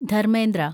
Dharmendra